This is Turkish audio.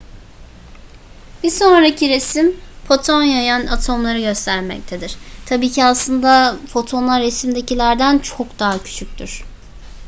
bir sonraki resim foton yayan atomları göstermektedir tabii ki aslında fotonlar resimdekilerden çok daha küçüktür